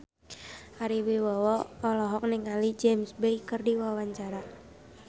Ari Wibowo olohok ningali James Bay keur diwawancara